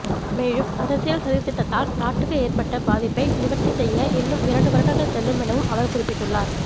மேலும் அரசியல் சதித்திட்டத்தால் நாட்டுக்கு ஏற்பட்ட பாதிப்பை நிவர்த்திசெய்ய இன்னும் இரண்டு வருடங்கள் செல்லும் எனவும் அவர் குறிப்பிட்டுள்ளார்